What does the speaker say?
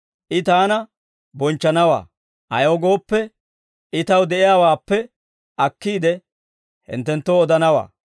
I Taana bonchchanawaa; ayaw gooppe, I Taw de'iyaawaappe akkiide, hinttenttoo odanawaa.